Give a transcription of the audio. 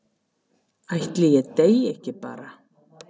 Ætli ég deyi ekki bara?